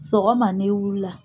Sɔgɔma n'i wulila